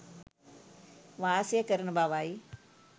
වාසය කරන බවයි.